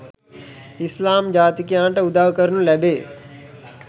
ඉස්ලාම් ජාතිකයන්ට උදව් කරනු ලැබේ.